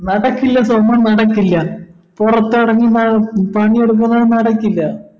നടക്കില്ല സോമ നടക്കില്ല പൊറത്തെറങ്ങി നമുക്ക് പണിയെടുക്കുന്നത് നടക്കില്ല